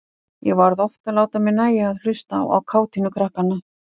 Ég varð oft að láta mér nægja að hlusta á kátínu krakkanna.